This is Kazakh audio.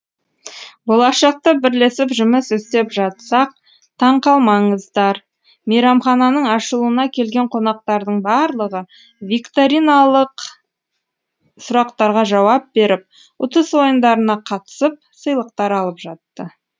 болашақта бірлесіп жұмыс істеп жатсақ таң қалмаңыздар мейрамхананың ашылуына келген қонақтардың барлығы викториналық сұрақтарға жауап беріп ұтыс ойындарына қатысып сыйлықтар алып жатты